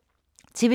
TV 2